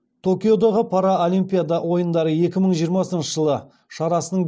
токиодағы паралимпиада ойындары екі мың жиырмасыншы жылы шарасының